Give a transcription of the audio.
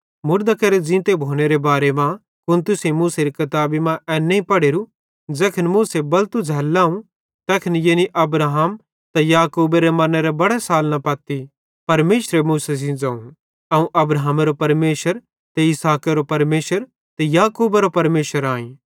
मुड़दां केरे ज़ींतो भोनेरे बारे मां कुन तुसेईं मूसेरी किताबी मां एन नईं पढ़ोरू ज़ैखन मूसे बलतू झ़ैल्ल लाव तैखन यानी अब्राहम इसहाक त याकूब मरनेरे बड़े सालना पत्ती परमेशरे मूसा सेइं ज़ोवं अवं अब्राहमेरो परमेशर ते इसहाकेरो परमेशर ते याकूबेरो परमेशर आईं